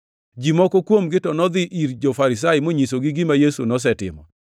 Ji moko kuomgi to nodhi ir jo-Farisai monyisogi gima Yesu nosetimo.